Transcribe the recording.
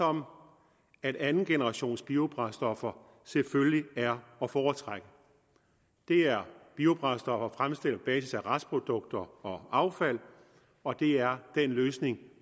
om at andengenerationsbiobrændstoffer selvfølgelig er at foretrække det er biobrændstoffer fremstillet på basis af restprodukter og affald og det er den løsning